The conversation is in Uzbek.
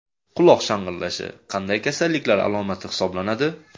Quloq shang‘illashi qanday kasalliklar alomati hisoblanadi?.